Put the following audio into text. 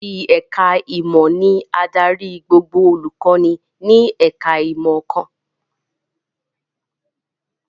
Olórí ẹ̀ká ìmọ̀ ni adarí gbogbo olùkọ́ni ní ẹ̀ká ìmọ̀ kan